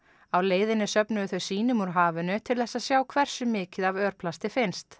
á leiðinni söfnuðu þau sýnum úr hafinu til að sjá hversu mikið af örplasti finnst